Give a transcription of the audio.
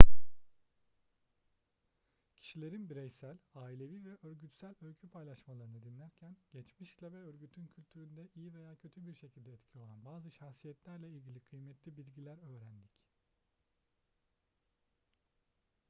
kişilerin bireysel ailevi ve örgütsel öykü paylaşmalarını dinlerken geçmişle ve örgütün kültüründe iyi veya kötü bir şekilde etkili olan bazı şahsiyetlerle ilgili kıymetli bilgiler öğrendik